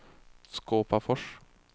Skåpafors